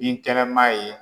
Binkɛnɛma ye